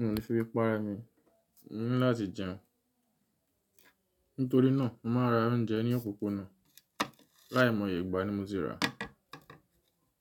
n ò le fi bíi pa enu, mo ní láti jẹun. Nítorí náà, mo máa ra oúnjẹ ní òpópónà. Láì mọ ìyẹ̀gbà ni mo ti rà.